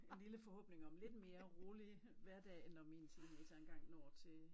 En lille forhåbning om lidt mere rolig hverdag når mine teenagere engang når mine teenagere engang når til